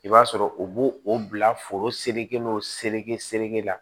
I b'a sɔrɔ u b'o o bila foro sere n'o sereke sere la